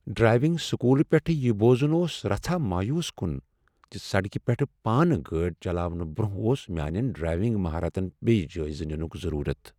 Driving school پیٹھٕ یہ بوزن اوس رژھاہ مایوس کن ز سڑکہ پیٹھ پانہٕ گٲڑۍ چلاونہٕ برٛۄنٛہہ اوس میانین ڈرائیونگ مہارتن بیٚیہ جٲیزٕ ننک ضرورت۔